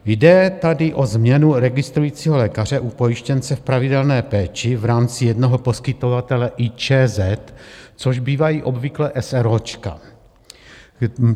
Jde tady o změnu registrujícího lékaře u pojištěnce v pravidelné péči v rámci jednoho poskytovatele IČZ, což bývají obvykle eseróčka.